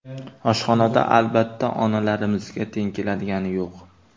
Oshxonada albatta, onalarimizga teng keladigani yo‘q.